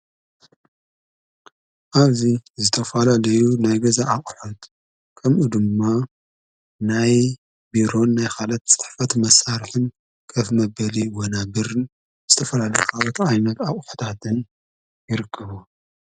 ኣዙይ ዝተፋላ ደዩ ናይ ገዛ ኣቝሐት ከምኡ ድማ ናይ ቢሮን ናይ ኻለት ጽትሕፈት መሣርሕን ከፍ መበሊ ወና ብርን ዝተፈላሊኻወት ዓይነት ኣቝሕታትን ይርከቡ።